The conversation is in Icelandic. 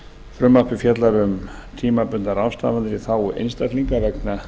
frumvarpið fjallar um tímabundnar ráðstafanir í þágu einstaklinga vegna